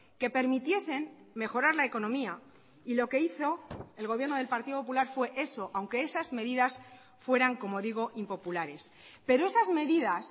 que permitiesen mejorar la economía y lo que hizo el gobierno del partido popular fue eso aunque esas medidas fueran como digo impopulares pero esas medidas